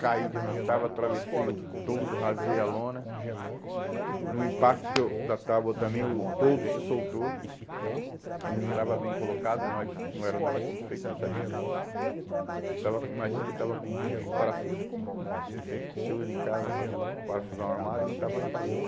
caí de onde eu estava, atravessei o toldo, rasguei a lona, no impacto que eu, da tábua também, o toldo se soltou, ele não estava bem colocado, nós não éramos nós que tínhamos feito, não sabíamos disso, e estava, imagina que ele estava com um bucho, parafuso comum, você usa em casa, para parafusar um armário, ele estava na parede,